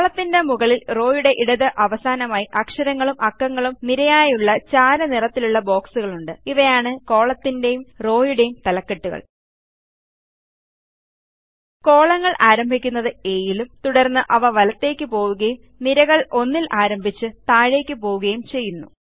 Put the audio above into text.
കോളത്തിന്റെ മുകളിൽ റോയുടെ ഇടത്ത് അവസാനമായി അക്ഷരങ്ങളും അക്കങ്ങളും നിരയായുള്ള ചാര നിറത്തിലുള്ള ബോക്സുകളുണ്ട് ഇവയാണ് കോളത്തിന്റെയും റോയുടെയും തലകെട്ടുകൾ കോളങ്ങൾ ആരംഭിക്കുന്നത് A യിലും തുടർന്ന് അത് വലത്തേയ്ക്ക് പോവുകയും നിരകൾ 1 ൽ ആരംഭിച്ച് താഴേയ്ക്ക് പോവുകയും ചെയ്യും